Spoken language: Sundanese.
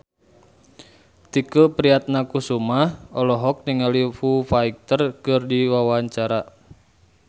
Tike Priatnakusuma olohok ningali Foo Fighter keur diwawancara